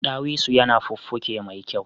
Dawisu yana fuffuke me kyau